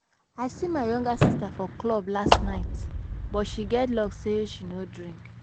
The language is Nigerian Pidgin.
I see my younger sister for club last night but she get luck say she no drink